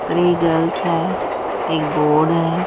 Three girls है एक board है।